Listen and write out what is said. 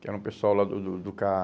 Que era um pessoal lá do do do